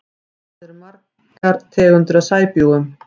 Hvað eru til margar tegundir af sæbjúgum?